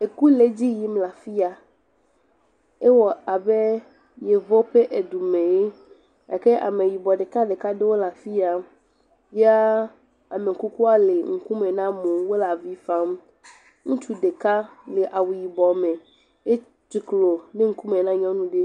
eku le ediyim la fiya ewɔbɛ yevuwo ƒɛ dumeɛ gake ameyibɔ ɖeka ɖeka ɖewo le afiya ya amekukua lɛ ŋkume na mowo wolɛ avi fam ŋutsu ɖeka le awu yibɔ mɛ e tsuklo ɖe ŋkumɛ na nyɔnu ɖɛ